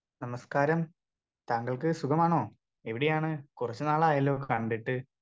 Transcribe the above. Speaker 2 നമസ്ക്കാരം താങ്കൾക്ക് സുഖമാണോ എവിടെയാണ് കുറച്ചു നാളായല്ലോ കണ്ടിട്ട്.